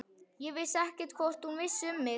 Ég vissi ekkert hvort hún vissi um mig.